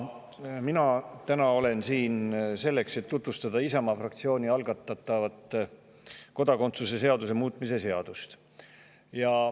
Mina olen siin täna selleks, et tutvustada Isamaa fraktsiooni algatatud kodakondsuse seaduse muutmise seadust.